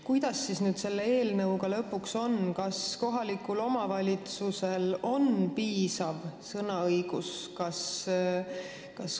Kuidas siis nüüd selle eelnõuga lõpuks on, kas kohalikul omavalitsusel on piisav sõnaõigus?